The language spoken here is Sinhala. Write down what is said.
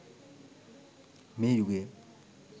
මේ යුගය